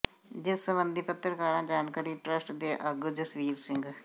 ਜਿਸ ਸਬੰਧੀ ਪੱਤਰਕਾਰਾਂ ਜਾਣਕਾਰੀ ਟਰੱਸਟ ਦੇ ਆਗੂ ਜਸਵੀਰ ਸਿੰਘ